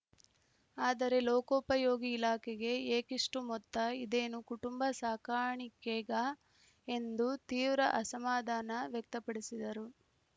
ಆದರೆ ಲೋಕೋಪಯೋಗಿ ಇಲಾಖೆಗೆ ಏಕಿಷ್ಟುಮೊತ್ತ ಇದೇನು ಕುಟುಂಬ ಸಾಕಾಣಿಕೆಗಾ ಎಂದು ತೀವ್ರ ಅಸಮಾಧಾನ ವ್ಯಕ್ತಪಡಿಸಿದರು